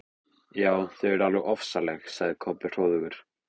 Já, þau eru alveg ofsaleg, sagði Kobbi hróðugur.